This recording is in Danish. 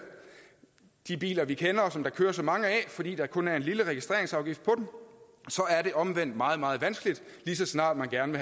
de biler vi kender og som der kører så mange af fordi der kun er en lille registreringsafgift på dem så er det omvendt meget meget vanskeligt lige så snart man gerne